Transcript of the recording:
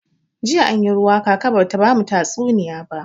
Jiya anyi ruwa kaka bata bamu tatsuniya ba.